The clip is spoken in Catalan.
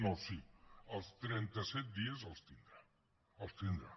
no sí els trenta set dies els tindrà els tindrà